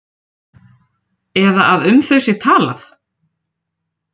Eða að um þau sé talað?